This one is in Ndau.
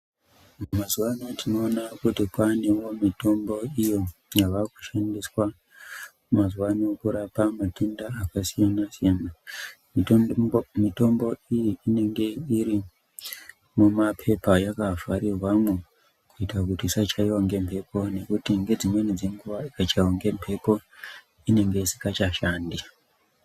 Mazuvano tinoona kuti kwaa nemumwe mitombo iyo yava kushandiswa mazuvano kurapa matenda akasiyana -siyana. Mitombo iyi inenge iri mumapepa yakavharirwamo kuita kuti isachaiwa ngemhepo ngekuti ngedzimweni dzenguva ikachaiwa ngemhepo inenge ichingasashandi.